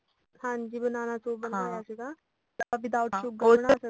ਹਾਂਜੀ banana soon ਬਣਵਾਇਆ ਸੀਗਾ without sugar ਬਣਾ ਸਕਦੇ ਆ